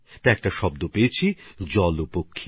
তখন একটা শব্দ পেলাম জলপাখি